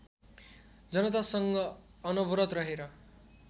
जनतासँग अनवरत रहेर